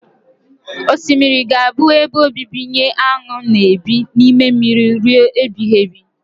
Osimiri ga-abụ ebe obibi nye aṅụ na ebi n'ime mmiri rue ebighibi